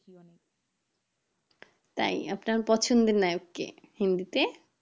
তাই আপনার পছন্দের নায়ক কে? হিন্দিতে